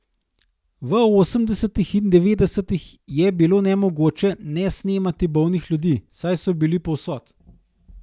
V osemdesetih in devetdesetih je bilo nemogoče ne snemati bolnih ljudi, saj so bili povsod.